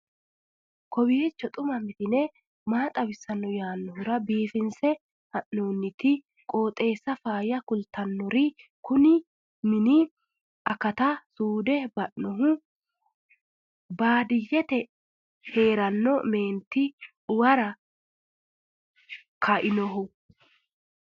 kowiicho xuma mtini maa xawissanno yaannohura biifinse haa'noonniti qooxeessano faayya kultannori kuni mini akata suude ba'nohu baadityyete heeranno mineeti uwara kainohu